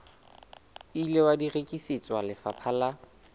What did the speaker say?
ile wa rekisetswa lefapha la